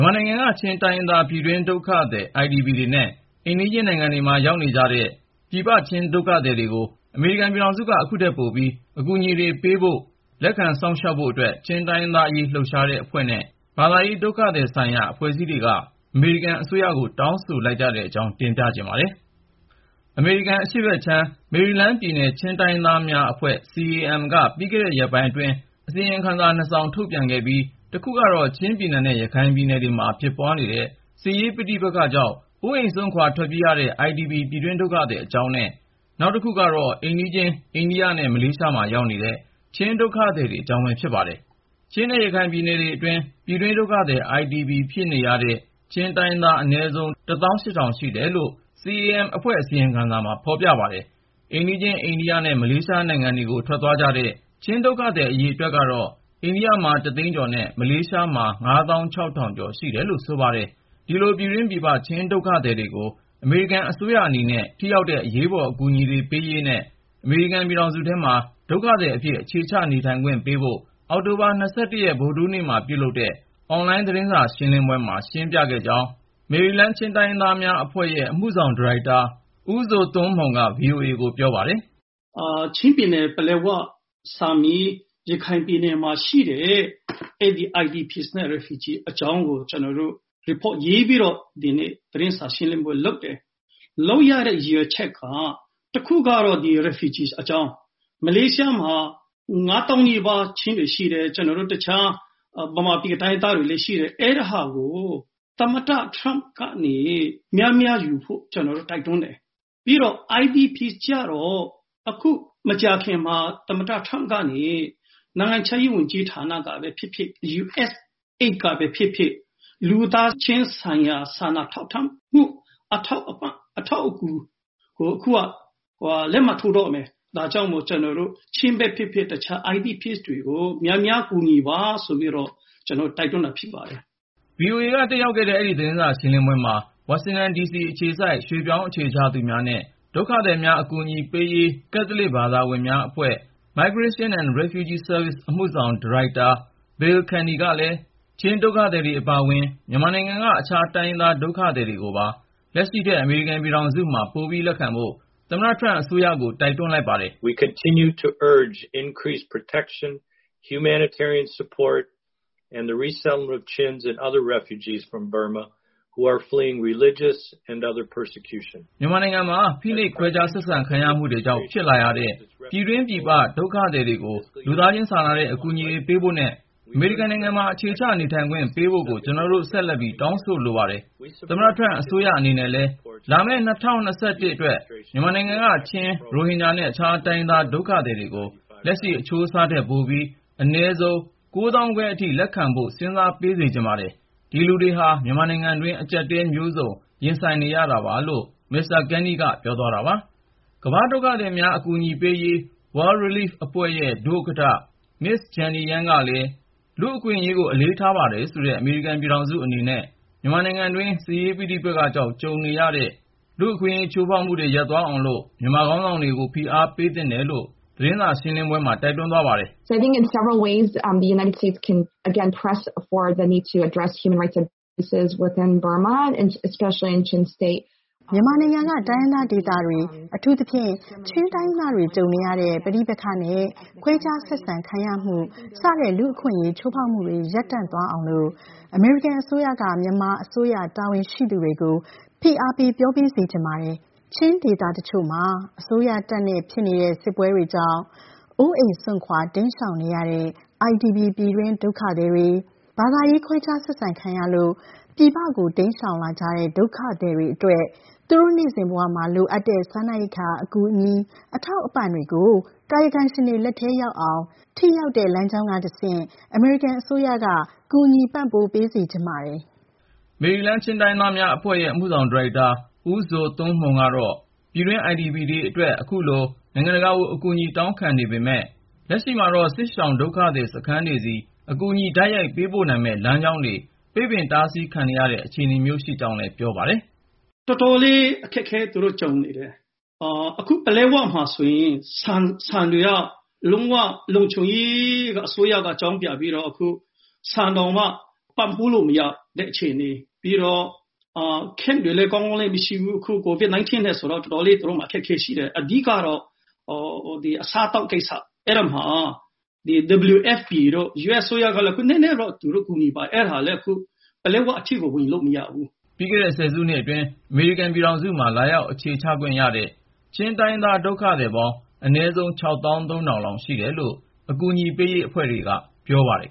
်မာနိုင်ငံက ချင်းတိုင်းရင်းသား ပြည်တွင်း ဒုက္ခသည် IDP တွေနဲ့ အိမ်နီးချင်း နိုင်ငံတွေမှာ ရောက်နေတဲ့ ပြည်ပရောက် ချင်း ဒုက္ခသည်တွေကို အမေရိကန်ပြည်ထောင်စုက အခုထက်ပိုပြီး အကူအညီတွေ ပေးဖို့ ၊ လက်ခံစောင့်ရှောက်ဖို့အတွက် ချင်းတိုင်းရင်းသားအရေး လှုပ်ရှားတဲ့အဖွဲ့နဲ့ ဘာသာရေး/ ဒုက္ခသည်ဆိုင်ရာ အဖွဲ့အစည်းတွေက အမေရိကန်အစိုးရကို တောင်းဆိုလိုက် ကြတဲ့အကြောင်း ကိုဉာဏ်ဝင်းအောင်က ဆက်သွယ်မေးမြန်း တင်ပြထားပါတယ်။ အမေရိကန်အရှေ့ဘက်ခြမ်း မေရီလန်းပြည်နယ် ချင်းတိုင်းရင်းသားများအဖွဲ့ ( CAM - Chin Association Maryland ) က ပြီးခဲ့တဲ့ ရက်ပိုင်းအတွင်း အစီရင်ခံစာ နှစ်စောင် ထုတ်ပြန်ခဲ့ပြီး တခုကတော့ ချင်းပြည်နယ်နဲ့ ရခိုင်ပြည်နယ်တွေမှာ ဖြစ်ပွားနေတဲ့ စစ်ရေးပဋိပက္ခကြောင့် အိုးအိမ်စွန့်ခွာ ထွက်ပြေးနေရတဲ့ IDP ပြည်တွင်းဒုက္ခသည် အကြောင်းနဲ့ နောက်တခုက အိမ်နီးချင်း အိန္ဒိယနဲ့ မလေးရှားမှာ ရောက်နေတဲ့ ချင်းဒုက္ခသည်တွေအကြောင်းပဲ ဖြစ်ပါတယ်။ ပြည်တွင်းဒုက္ခသည် IDP ဖြစ်နေရတဲ့ ချင်းတိုင်းရင်းသား အနည်းဆုံး လောက် ရှိတယ်လို့ CAM ရဲ့အစီရင်ခံစာမှာ ဖေါ်ပြပါတယ်။ အိမ်နီးချင်း အိန္ဒိယနဲ့ မလေးရှားနိုင်ငံတွေကို ထွက်ခွာသွားကြတဲ့ ချင်းဒုက္ခသည် အရေအတွက်ကတော့ အိန္ဒိယမှာ သိန်းကျော်နဲ့ မလေးရှားမှာ ကျော်ရှိတယ်လို့ ဆိုပါတယ်။ ဒီလို ပြည်တွင်း/ပြည်ပ ချင်းဒုက္ခသည်တွေကို အမေရိကန်အစိုးရအနေနဲ့ ထိရောက်တဲ့ အရေးပေါ် အကူအညီပေးရေးနဲ့ အမေရိကန်ပြည်ထောင်စုထဲမှာ ဒုက္ခသည်အဖြစ် အခြေချ နေထိုင်ခွင့်ပေးဖို့ အောက်တိုဘာ ဗုဒ္ဓဟူးနေ့မှာ ပြုလုပ်တဲ့ အွန်လိုင်း သတင်းစာရှင်းလင်းပွဲမှာ ရှင်းပြခဲ့ကြောင်း မေရီလန်းပြည်နယ် ချင်းတိုင်းရင်းသားများအဖွဲ့ရဲ့ အမှုဆောင် ဒါရိုက်တာ ဦးဇိုသွန်းမှုန်က VOA ကိုပြောပါတယ်။ “ ချင်းပြည်နယ်၊ ပလက်ဝ၊ ဆာမီးမှာရှိတဲ့ အဲဒီ IDP နဲ့ Refugee အကြောင်းကို ကျနော် Report ရေးပြီးတော့ ဒီနေ့ သတင်းစာရှင်းလင်းပွဲလုပ်ပါတယ်။ လုပ်ရတဲ့ ရည်ရွယ်ချက်က တခုကတော့ ဒီ Refugee အကြောင်း ။ မလေးရှားမှာ ၅ သောင်းနီးပါး ချင်းတွေရှိတယ်။ ကျနော်တို့ တခြား မြန်မာပြည်က တိုင်းရင်းသားတွေလည်း ရှိတယ်။ အဲဒါကို သမ္မတ Trump ကနေ များများယူဖို့ ကျနော်တို့ တိုက်တွန်းတယ်။ ပြီးတော့ IDP ကျတော့ အခု မကြာခင်မှာ သမ္မတ Trump ကနေ နိုင်ငံခြားရေး ဝန်ကြီးဌာနကပဲ ဖြစ်ဖြစ် USAID ကပဲ ဖြစ်ဖြစ် လူသားချင်းစာနာထောက်ထားမှု အထောက်အပံ့ အထောက်အကူကို အခုက လက်မှတ်ထိုးတော့မယ်။ ဒါကြောင့်မို့ ချင်းပဲဖြစ်ဖြစ် တခြား IDP တွေကို များများ ကူညီပါဆိုပြီးတော့ ကျနော်တို့ တိုက်တွန်းတာဖြစ်ပါတယ်။” VOA က တက်ရောက်ခဲ့တဲ့ အဲဒီ သတင်းစာ ရှင်းလင်းပွဲမှာ ဝါရှင်တန်ဒီစီ အခြေစိုက် ရွှေ့ပြောင်းအခြေချသူများနဲ့ ဒုက္ခသည်များ အကူအညီပေးရေး ကက်သလစ် ဘာသာဝင်များအဖွဲ့ ( Migration and Refugee Services) အမှုဆောင်ဒါရိုက်တာ Bill Canny ကလည်း ချင်းဒုက္ခသည်တွေအပါအဝင် မြန်မာနိုင်ငံက အခြားတိုင်းရင်းသား ဒုက္ခသည်တွေကိုပါ လက်ရှိထက် အမေရိကန် ပြည်ထောင်စုမှာ ပိုလက်ခံဖို့ သမ္မတထရမ့် အစိုးရကို တိုက်တွန်းလိုက်ပါတယ်။ “ မြန်မာနိုင်ငံမှာ ဖိနှိပ် ခွဲခြားဆက်ဆံခံရမှုတေ ွကြောင့် ဖြစ်လာရတဲ့ ပြည်တွင်းပြည်ပရောက် ဒုက္ခသည်တွေကို လူသားချင်းစာနာတဲ့ အကူအညီတွေ ပေးဖို့နဲ့ အမေရိကန်နိုင်ငံမှာ အခြေချ နေထိုင်ခွင့် ပေးဖို့ကို ကျနော်တို့ ဆက်လက်ပြီး တောင်းဆိုလိုပါတယ်။ သမ္မတ ထရမ့်အစိုးရအနေနဲ့လည်း လာမယ့် ၂၀၂၁ အတွက် မြန်မာနိုင်ငံအပါအဝင် တကမ္ဘာလုံးက ဒုက္ခသည် အရေအတွက်ကို လက်ရှိထက် ပိုပြီး အနည်းဆုံး အထိ လက်ခံပေး စေချင်ပါတယ်။ ဒီလူတွေဟာ မြန်မာနိုင်ငံတွင်းမှာ အကြပ်အတည်း မျိုးစုံကို ရင်ဆိုင်နေရတာပါ” ကမ္ဘာ့ ဒုက္ခသည်များ အကူအညီပေးရေး World Relief အဖွဲ့ရဲ့ ဒုဥက္ကဌ Ms. Jenny Yang ကလည်း လူ့အခွင့်အရေးကို အလေးထားပါတယ်ဆိုတဲ့ အမေရိကန် ပြည်ထောင်စုအနေနဲ့ မြန်မာနိုင်ငံတွင်း စစ်ရေးပဋိပက္ခကြောင့် ကြုံနေရတဲ့ လူ့အခွင့်အရေး ချိုးဖေါက်မှုတွေ ရပ်တန့်သ ွားအောင်လို့ မြန်မာခေါင်းဆောင်တွေကို ဖိအားပေးသင့်တယ်လို့ အွန်လိုင်း သတင်းစာရှင်းပွဲမှာ ပြောသွားပါတယ်။ “မြန်မာနိုင်ငံက တိုင်းရင်းသားဒေသတွေ - အထူးသဖြင့် ချင်းတိုင်းရင်းသားတွေ ကြုံနေရတဲ့ ပဋိပက္ခနဲ့ ခွဲခြားဆက်ဆံ ခံရမှု စတဲ့ လူ့အခွင့်အရေး ချိုးဖေါက်မှုတွေ ရပ်တန့်သွားအောင်လို့ အမေရိကန်အစိုးရက မြန်မာအစိုးရ တာဝန်ရှိသူတွေကို ဖိအားပေး ပြော ပေးစေချင်ပါတယ်။ ချင်း ဒေသတချို့မှာ အစိုးရတပ်နဲ့ ဖြစ်နေတဲ့ စစ်ပွဲ တွေကြောင့် အိုးအိမ်စွန့်ခွာ တိမ်းရှောင်နေရတဲ့ IDP ပြည်တွင်းဒုက္ခသည်တေ ွ ၊ ဘာသာရေး ခွဲခြား ဆက်ဆံခံရလို့ ပြည်ပကို တိမ်းရှောင်လာကြတဲ့ ဒုက္ခသည်တေ ွအတ ွက် သူတို့ နေ့စဉ်ဘဝမှာ လိုအပ်နေတဲ့စားနပ်အကူအညီ အထောက်အပံ့တွေကို ကာယကံရှင်တွေ လက်ထဲ ရောက်အောင် ၊ ထိရောက်တဲ့ လမ်းကြောင်းကတဆင့် အမေရိကန် အစိုးရက ကူညီပံ့ပိုး ပေးစေချင်ပါတယ်။” မေရီလန်း ချင်းတိုင်းရင်းသားများအဖွဲ့ရဲ့ အမှုဆောင် ဒါရိုက်တာ ဦးဇိုသွန်းမှုန်က တော့ ပြည်တွင်း IDP တွေအတွက် အခုလို နိုင်ငံတကာကို အကူအညီတောင်းခံနေပေမယ့် လက်ရှိမှာတော့ စစ်ရှောင်ဒုက္ခသည်စခန်းတွေဆီ အကူအညီ တိုက်ရိုက်ပေးပို့နိုင်မယ့် လမ်းကြောင်းတွေ ပိတ်ပင်တားဆီးခံရတဲ့ အခြေအနေမျိုးရှိကြောင်း ရှင်းပြပါတယ်။ “ တော်တော်လေး အခက်အခဲ သူတို့ ကြုံနေတယ်။ အခု ပလက်ဝမှာဆိုရင် ဆန်တွေက လုံး၀ လုံခြုံကို အစိုးရက အကြောင်းပြပြီးတော့ အခု ဆန်တောင်မှာ ပံ့ပိုးလို့မရ ဖြစ်နေတဲ့အခြေအနေ ပြီးတော့ Camp တွေလည်း ကောင်းကောင်းမရှိဘူး COVID-19 ကြောင့်မို့ သူတို့မှာတော်တော်လေး အခက်အခဲရှိတယ်။ အဓိကတော့ အစားအသောက်ကိစ္စ ။ အဲဒီမှာ WFP တို့ US အစိုးရကလည်း နည်းနည်းကူညီပါတယ် အဲဒါလည်း ပလက်၀ အထိကို ဝင်လို့မရဘူး” ပြီးခဲ့တဲ့ ဆယ်စုနှစ်အတွင်း အမေရိကန် ပြည်ထောင်စုမှာ လာရောက် အခြေချခွင့် ရှိတဲ့ ချင်းတိုင်းရင်းသား ဒုက္ခသည် ပေါင်း အနည်းဆုံး ( ၆ သောင်း ၃ ထောင်)လောက် ရှိတယ်လို့ အကူအညီပေးရေး အဖွဲ့တွေက ပြောပါတယ်